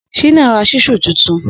Shina rà ṣísù tútún